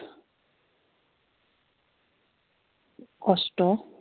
কস্ট